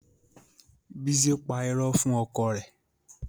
Bísí pa irọ́ fún ọkọ rẹ̀